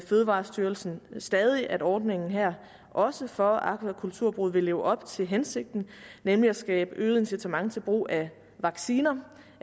fødevarestyrelsen nu stadig at ordningen her også for akvakulturbrug vil leve op til hensigten nemlig at skabe øget incitament til brug af vacciner